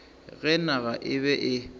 ge naga e be e